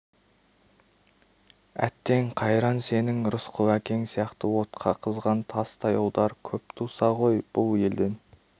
әттең қайран сенің рысқұл әкең сияқты отқа қызған тастай ұлдар көп туса ғой бұл елден